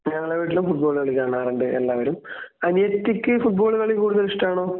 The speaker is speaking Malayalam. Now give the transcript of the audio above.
ഞങ്ങളെ വീട്ടിലും ഫുട്ബാൾ കളി കാണാറുണ്ട് എല്ലാവരും. അനിയത്തിക്ക് ഫുട്ബോൾ കളി കൂടുതൽ ഇഷ്ടമാണോ?